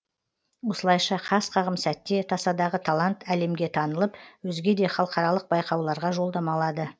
осылайша қас қағым сәтте тасадағы талант әлемге танылып өзге де халықаралық байқауларға жолдама алады